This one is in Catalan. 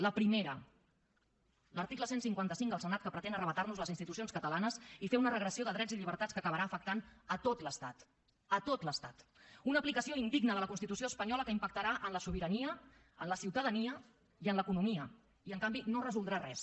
la primera l’article cent i cinquanta cinc al senat que pretén arrabassarnos les institucions catalanes i fer una regressió de drets i llibertats que acabarà afectant tot l’estat tot l’estat una aplicació indigna de la constitució espanyola que impactarà en la sobirania en la ciutadania i en l’economia i en canvi no resoldrà res